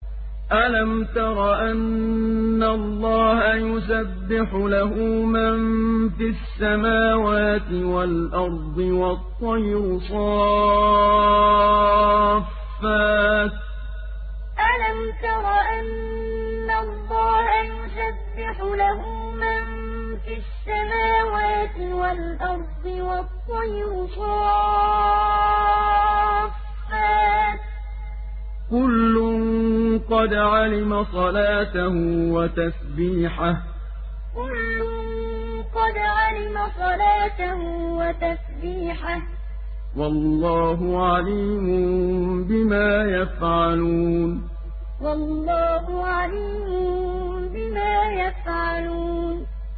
أَلَمْ تَرَ أَنَّ اللَّهَ يُسَبِّحُ لَهُ مَن فِي السَّمَاوَاتِ وَالْأَرْضِ وَالطَّيْرُ صَافَّاتٍ ۖ كُلٌّ قَدْ عَلِمَ صَلَاتَهُ وَتَسْبِيحَهُ ۗ وَاللَّهُ عَلِيمٌ بِمَا يَفْعَلُونَ أَلَمْ تَرَ أَنَّ اللَّهَ يُسَبِّحُ لَهُ مَن فِي السَّمَاوَاتِ وَالْأَرْضِ وَالطَّيْرُ صَافَّاتٍ ۖ كُلٌّ قَدْ عَلِمَ صَلَاتَهُ وَتَسْبِيحَهُ ۗ وَاللَّهُ عَلِيمٌ بِمَا يَفْعَلُونَ